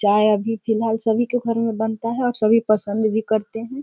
चाय अभी फिलहाल सभी के घर में बनता है और सभी पसंद भी करते हैं।